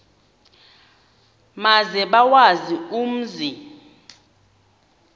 maze bawazi umzi